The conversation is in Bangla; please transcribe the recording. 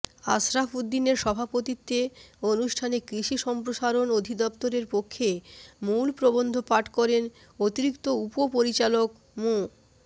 আশরাফ উদ্দিনের সভাপতিত্বে অনুষ্ঠানে কৃষি সম্প্রসারণ অধিদপ্তরের পক্ষে মূল প্রবন্ধ পাঠ করেন অতিরিক্ত উপপরিচালক মো